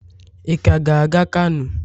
ị ka ga-aga kano?